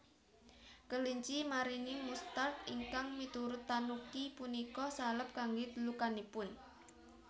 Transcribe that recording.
Kelinci maringi mustard ingkang miturut tanuki punika salep kangge lukanipun